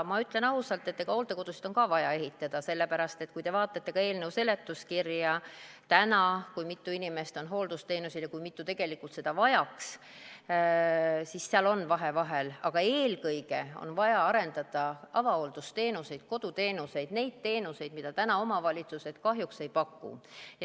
Ma ütlen ausalt, et hooldekodusid on ka vaja ehitada, sellepärast et kui te vaatate eelnõu seletuskirja, kui mitu inimest on täna hooldusteenusel ja kui mitu tegelikult seda vajaks, siis seal on vahe vahel, aga eelkõige on vaja arendada avahooldusteenuseid, koduteenuseid, neid teenuseid, mida täna omavalitsused kahjuks ei paku.